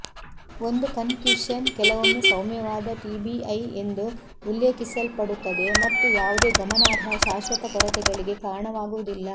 ಒಂದು ಕನ್ಕ್ಯುಶನ್ ಕೆಲವೊಮ್ಮೆ ಸೌಮ್ಯವಾದ ಟಿಬಿಐ ಎಂದು ಉಲ್ಲೇಖಿಸಲ್ಪಡುತ್ತದೆ ಮತ್ತು ಯಾವುದೇ ಗಮನಾರ್ಹ ಶಾಶ್ವತ ಕೊರತೆಗಳಿಗೆ ಕಾರಣವಾಗುವುದಿಲ್ಲ